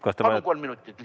Palun kolm minutit lisaaega!